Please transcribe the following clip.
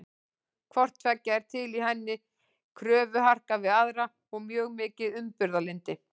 Hvort tveggja er til í henni, kröfuharka við aðra og mjög mikið umburðarlyndi.